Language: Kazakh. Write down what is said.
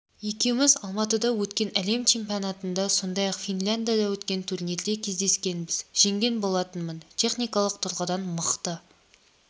екеуміз алматыда өткен әлем чемпионатында сондай-ақ финляндия өткен турнирде кездескенбіз жеңген болатынмын техникалық тұрғыдан мықты